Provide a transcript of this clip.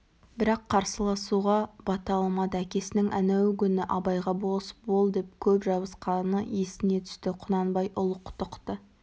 бірақ қарсыласуға бата алмады әкесінің әнеугүні абайға болыс бол деп көп жабысқаны есіне түсті құнанбай ұлықтықты